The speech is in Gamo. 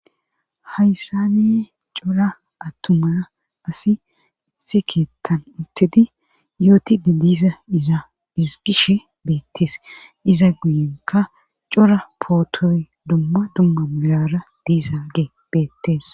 Hayssaniye cora attumaa asi itse keettan uttedi yooti de diiza iza esgishe beettees iza guyenka cora pootoy dumma dumma mirara diizage beettees.